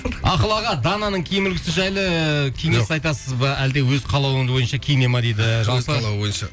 ақыл аға дананың киім үлгісі жайлы кеңес айтасыз ба әлде өз қалауы бойынша киіне ме дейді өз қалауы бойынша